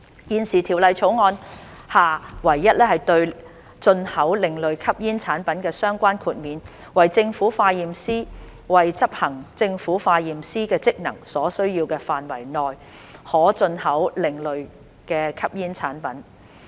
現時《條例草案》下唯一對進口另類吸煙產品的相關豁免為政府化驗師為執行政府化驗師的職能所需要的範圍內，可進口另類吸煙產品。